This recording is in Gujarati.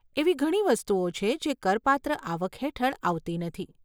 એવી ઘણી વસ્તુઓ છે જે કરપાત્ર આવક હેઠળ આવતી નથી.